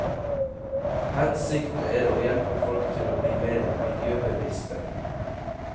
Hensikten er å hjelpe folk til å bli mer miljøbevisste.